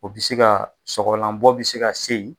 O bɛ se ka sɔgɔlanbɔ bɛ se ka se yen.